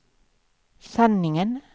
sanningen